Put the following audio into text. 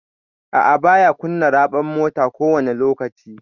A'a, baya kunna raɓar mota kowani lokaci.